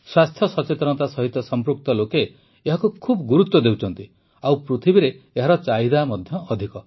ସ୍ୱାସ୍ଥ୍ୟ ସଚେତନତା ସହିତ ସଂପୃକ୍ତ ଲୋକେ ଏହାକୁ ବହୁତ ଗୁରୁତ୍ୱ ଦେଉଛନ୍ତି ଓ ପୃଥିବୀରେ ଏହାର ଚାହିଦା ମଧ୍ୟ ଅଧିକ